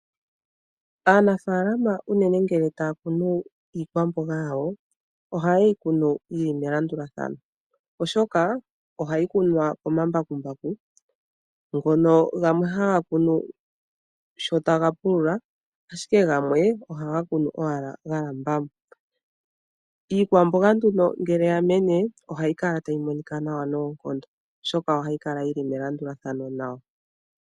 Aanafaalama unene ngele taya kunu iikwamboga yawo, ohaye yi kunu yi li melandulathano. Oshoka ohayi kunwa komambakumbaku, ngono gamwe haga kunu sho taga pulula, ashike gamwe ohaga kunu owala ga lamba mo. Iikwamboga mbino nduno ngele ya mene, ohayi monika nawa noonkondo, oshoka ohayi kala yi li melandulathano.